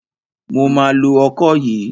Mo ma lo ọkọ yìí.